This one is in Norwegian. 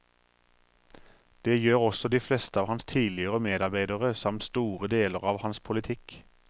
Det gjør også de fleste av hans tidligere medarbeidere samt store deler av hans politikk.